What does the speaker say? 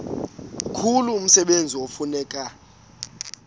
mkhulu umsebenzi ekufuneka